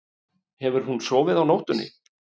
Hefur hún sofið á nóttunni?